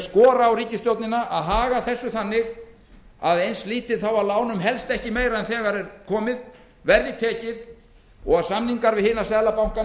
skora á ríkisstjórnina að haga þessu þannig að eins lítið af lánum helst ekki meira en þegar er komið verði tekið og að samningar við hina seðlabankana